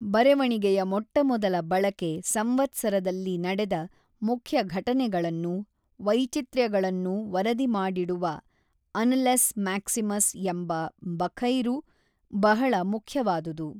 ಬರೆವಣಿಗೆಯ ಮೊಟ್ಟಮೊದಲ ಬಳಕೆ ಸಂವತ್ಸರದಲ್ಲಿ ನಡೆದ ಮುಖ್ಯ ಘಟನೆಗಳನ್ನೂ ವೈಚಿತ್ರ್ಯಗಳನ್ನೂ ವರದಿಮಾಡಿಡುವ ಆನಲೆಸ್ ಮ್ಯಾಕ್ಸಿಮಸ್ ಎಂಬ ಬಖೈರು ಬಹಳ ಮುಖ್ಯವಾದುದು.